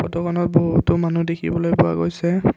ফটোখনত বহুতো মানুহ দেখিবলৈ পোৱা গৈছে।